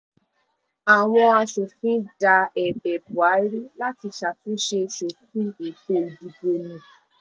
àwọn asòfin da ẹ̀bẹ̀ buhari láti ṣàtúnṣe sófin ètò ìdìbò nù